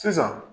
Sisan